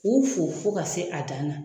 K'u fo fo ka se a dan na